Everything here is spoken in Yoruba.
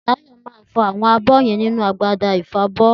Tayo má fọ awọn àbọ yen ninu agbada ìfọbọ.